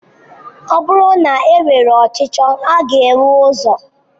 Ọ bụrụ na e nwere ọchicho a ga enwe ụzọ?